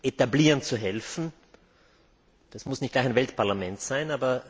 etablieren zu helfen? Das muss nicht gleich ein Weltparlament sein.